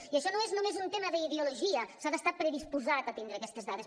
i això no és només un tema d’ideologia s’ha d’estar predisposat a tindre aquestes dades